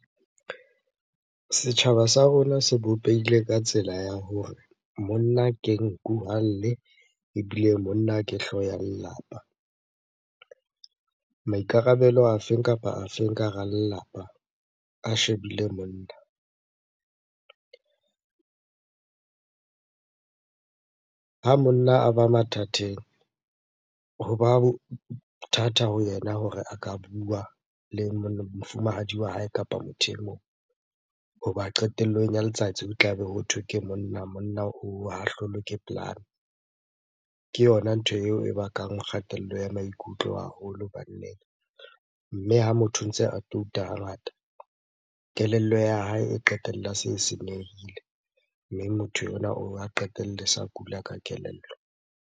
Setjhaba sa rona se bopehile ka tsela ya hore monna ke nku ha lle ebile monna ke hlooho ya lelapa. Maikarabelo a feng kapa a feng ka hara lelapa, a shebile monna. Ha monna a ba mathateng hoba ho thata ho yena hore a ka bua le mofumahadi wa hae kapa motho e mong. Hoba qetellong ya letsatsi ho tlabe hothwe ke monna, monna ha hlolwe ke polane. Ke yona ntho eo e bakang kgatello ya maikutlo haholo banneng. Mme ha motho a ntse a touta ha ngata, kelello ya hae e qetella se e senyehile. Mme motho onwa qetelle sa kula ka kelello.